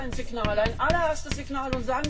Das wäre doch ein Signal, ein allererstes Signal.